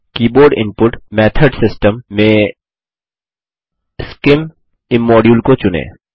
keyboard input method system में scim IM module को चुनें